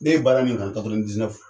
Ne ye baara nin kan